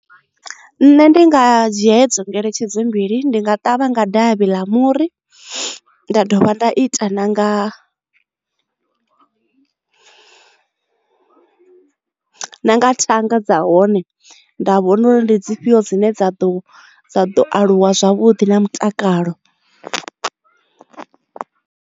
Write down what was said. Nṋe ndi nga dzhia hedzo ngeletshedzo mbili ndi nga ṱavha nga davhi ḽa muri nda dovha nda ita nanga na nga thanga dza hone nda vhona ndi dzi fhio dzine dza ḓo aluwa zwavhuḓi na mutakalo.